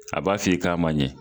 A b'a f'i k'a ma ɲɛ